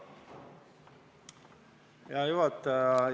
Hea juhataja!